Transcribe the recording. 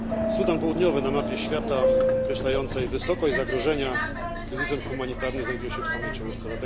Sudan Południowy na mapie świata określającej wysokość zagrożenia kryzysem humanitarnym znajduje się w samej czołówce.